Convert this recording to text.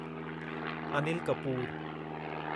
Anil Kapoor